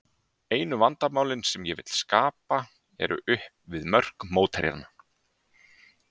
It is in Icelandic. Einu vandamálin sem ég vil skapa eru upp við mörk mótherjanna.